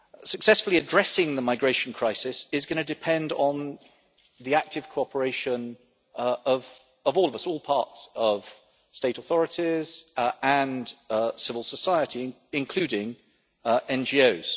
Successfully addressing the migration crisis is going to depend on the active cooperation of all of us, all parts of state authorities and civil society including NGOs.